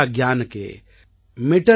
निज भाषा उन्नति अहै सब उन्नति को मूल